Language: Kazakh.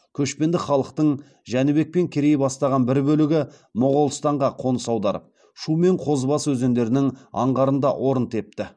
көшпенді халықтың жәнібек пен керей бастаған бір бөлігі моғолстанға қоныс аударып шу мен қозыбасы өзендерінің аңғарында орын тепті